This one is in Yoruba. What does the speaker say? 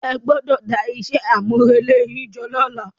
Ẹ gbọdọ̀ dá iṣẹ́ àmúrelé yín jọ lọ́la.